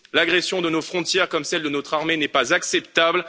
L'agression de nos frontières comme celle de notre armée n'est pas acceptable.